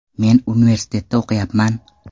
Men universitetda o‘qiyapman.